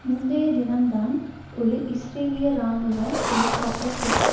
முந்தைய தினம்தான் ஒரு இஸ்ரேலிய இராணுவ ஹெலிகாப்டர் தெற்கு